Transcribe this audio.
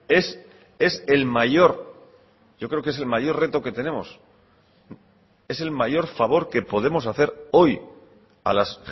es es el mayor yo creo que es el mayor reto que tenemos es el mayor favor que podemos hacer hoy a las